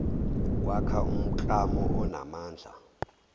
kwakha umklamo onamandla